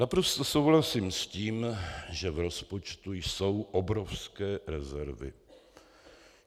Naprosto souhlasím s tím, že v rozpočtu jsou obrovské rezervy.